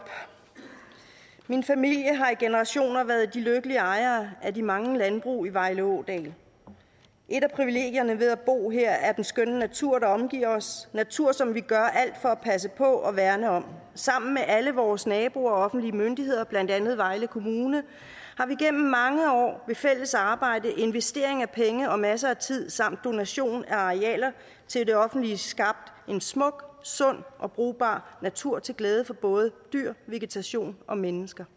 min familie har i generationer været de lykkelige ejere af de mange landbrug i vejle ådal et af privilegierne ved at bo her er den skønne natur der omgiver os natur som vi gør alt for at passe på og værne om sammen med alle vores naboer og offentlige myndigheder blandt andet vejle kommune har vi gennem mange år ved fælles arbejde investering af penge og masser af tid samt donation af arealer til det offentlige skabt en smuk sund og brugbar natur til glæde for både dyr vegetation og mennesker